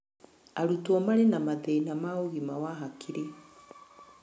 Arutwo marĩ na mathĩna ma ũgima wa hakiri